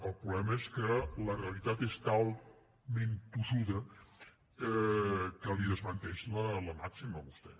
el problema és que la realitat és talment tossuda que li desmenteix la màxima a vostè